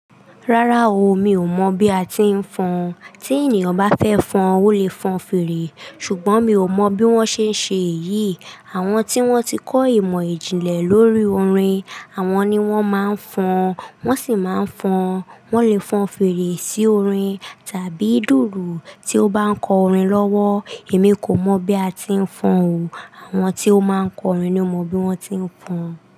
Rárá o, mi ò mọ̀ bí a ti ń fọn. Tí ènìyàn bá fẹ́ fọn, ó lè fọn fèrè. Ṣùgbọ́n mi ò mọ bí wọ́n ṣe ń ṣe èyí. Àwọn tí wọ́n ti kọ́ ìmọ̀ ìjìnlẹ̀ lórí orin, àwọn ni wọ́n máa ń fọn, wọ́n sì máa ń fọn. Wọ́n lè fọn fèrè sí orin tàbí dùrù tí ó bá ń kọ orin lọ́wọ́. Èmi kò mọ̀ bí a ti ń fọn o. Àwọn tí ó máa ń kọ orin ni ó mọ bí wọ́n ti ń fọn.